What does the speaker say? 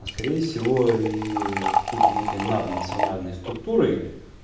а скорее всего и какой-то некий наднациональной структурой